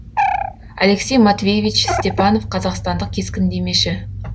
алексей матвеевич степанов қазақстандық кескіндемеші